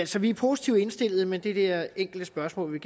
så vi er positivt indstillet men det der enkle spørgsmål vil